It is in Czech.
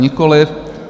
Nikoliv.